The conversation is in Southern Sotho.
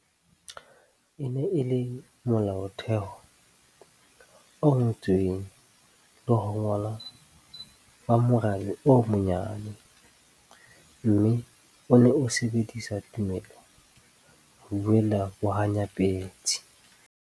E ne e le Molaotheo o ngotsweng le ho ngollwa ba morabe o monyane, mme o ne o sebedisa tumelo ho buella bohanyapetsi.